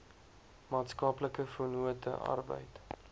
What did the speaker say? maatskaplike vennote arbeid